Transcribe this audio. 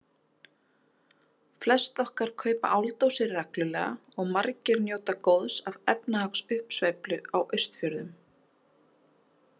Flest okkar kaupa áldósir reglulega og margir njóta góðs af efnahagsuppsveiflu á Austfjörðum.